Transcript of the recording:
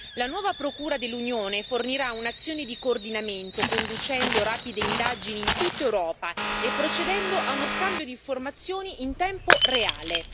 La nuova procura dell'Unione fornirà un'azione di coordinamento, conducendo rapide indagini in tutta Europa e procedendo a uno scambio di informazioni in tempo reale.